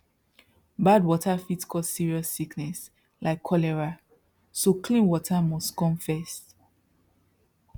bad water fit cause serious sickness like cholera so clean water must come first